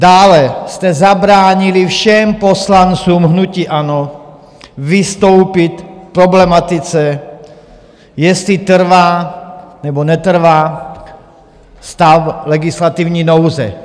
Dále jste zabránili všem poslancům hnutí ANO vystoupit k problematice, jestli trvá, nebo netrvá stav legislativní nouze.